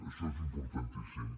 això és importantíssim